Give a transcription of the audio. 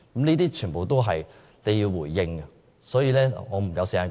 這全都是政府需要回應的問題。